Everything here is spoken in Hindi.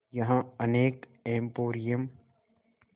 यहाँ अनेक एंपोरियम